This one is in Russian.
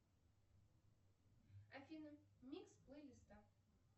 афина микс плейлиста